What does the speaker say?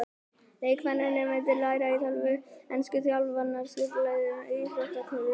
Leikmennirnir myndu læra á tölvur, ensku, þjálfun og skipulagningu íþróttaklúbba.